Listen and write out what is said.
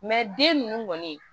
den ninnu kɔni